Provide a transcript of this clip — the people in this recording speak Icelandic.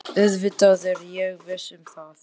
Auðvitað er ég viss um það.